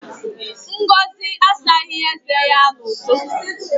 Ngozi asaghị eze ya n'ụtụtụ.